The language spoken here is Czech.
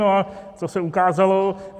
No a co se ukázalo?